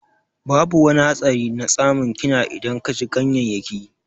Babu wani hatsari na tsamun kina idan ka ci ganyayyaki.